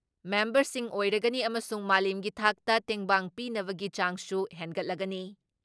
ꯃꯦꯝꯕꯔꯁꯤꯡ ꯑꯣꯏꯔꯒꯅꯤ ꯑꯃꯁꯨꯡ ꯃꯥꯂꯦꯝꯒꯤ ꯊꯥꯛꯇ ꯇꯦꯡꯕꯥꯡ ꯄꯤꯅꯕꯒꯤ ꯆꯥꯡꯁꯨ ꯍꯦꯟꯒꯠꯂꯒꯅꯤ ꯫